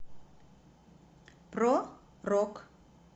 про рок